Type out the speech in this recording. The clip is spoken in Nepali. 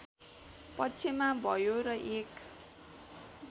पक्षमा भयो र एक